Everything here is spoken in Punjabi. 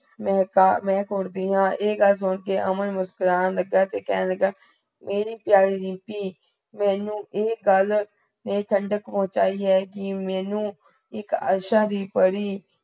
ਮੇ ਤਾ ਮੇ ਕੋੜ੍ਹ ਦੀਆ ਐ ਗਲ ਸੁਣਕੇ ਅਮਨ ਮੁਸ੍ਕੁਰਾਨ ਲਗਾ ਤੇ ਕਹਿਣ ਲੱਗਿਆ ਮੇਰੀ ਪਿਆਰੀ ਰੀਮਪੀ ਮੇਨੂ ਐ ਗਲ ਨੇ ਠੰਡਕ ਪੁਚਾਈ ਹੈ ਕੀ ਮੇਨੂ ਇਕ ਆਸ਼ਾ ਦੀ ਪਰੀ